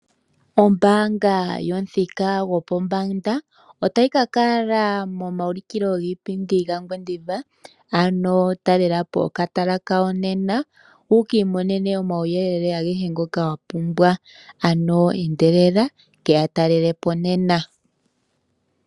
Ombaanga yo pomuthika gopombanda otayi ka kala momayulukilo giipindi gaNgwediva. Ano talela po okatala kawo nena wukiimonene omauyelele agehe ngoka wa pumbwa. Ano endelela ke yatalele po nena.